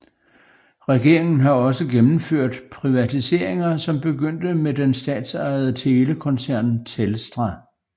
Regeringen har også gennemført privatiseringer som begyndte med den statsejede telekoncern Telstra